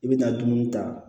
I bi na dumuni ta